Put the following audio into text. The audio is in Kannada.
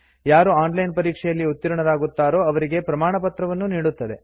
ಯಾರು ಆನ್ ಲೈನ್ ಪರೀಕ್ಷೆಯಲ್ಲಿ ಉತ್ತೀರ್ಣರಾಗುತ್ತಾರೋ ಅವರಿಗೆ ಪ್ರಮಾಣಪತ್ರವನ್ನೂ ನೀಡುತ್ತದೆ